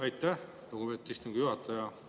Aitäh, lugupeetud istungi juhataja!